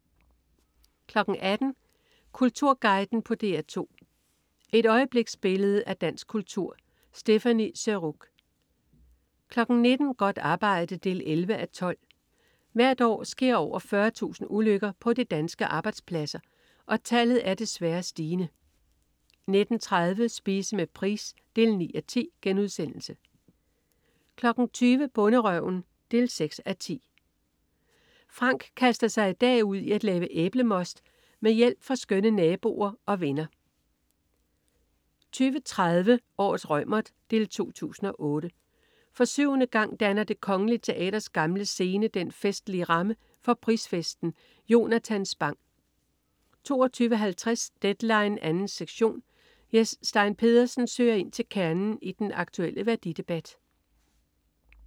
18.00 Kulturguiden på DR2. Et øjebliksbillede af dansk kultur. Stéphanie Surrugue 19.00 Godt arbejde 11:12. Hvert år sker over 40.000 ulykker på de danske arbejdspladser, og tallet er desværre stigende 19.30 Spise med Price 9:10* 20.00 Bonderøven 6:10. Frank kaster sig i dag ud i at lave æblemost med hjælp fra skønne naboer og venner 20.30 Årets Reumert 2008. For syvende gang danner Det Kongelige Teaters Gamle Scene den festlige ramme for prisfesten. Jonatan Spang 22.50 Deadline 2. sektion. Jes Stein Pedersen søger ind til kernen i den aktulle værdidebat